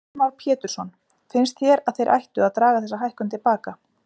Heimir Már Pétursson: Finnst þér að þeir ættu að draga þessa hækkun til baka?